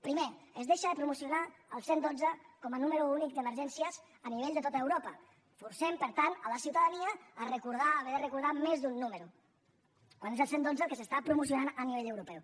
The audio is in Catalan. primer es deixa de promocionar el cent i dotze com a número únic d’emergències a nivell de tot europa forcem per tant la ciutadania a haver de recordar més d’un número quan és el cent i dotze el que s’està promocionant a nivell europeu